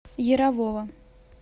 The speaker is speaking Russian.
ярового